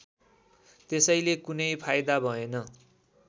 त्यसले कुनै फाइदा भएन